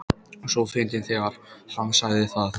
. svo fyndið þegar HANN sagði það!